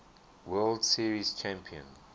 world series champion